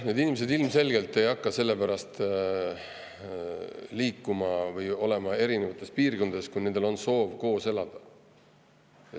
Need inimesed ilmselgelt ei hakka selle pärast liikuma erinevatesse piirkondadesse, kui nendel on soov koos elada.